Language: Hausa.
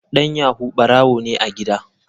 Dan yahoo barawo ne a gida.